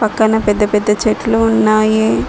పక్కన పెద్ద పెద్ద చెట్లు ఉన్నాయి.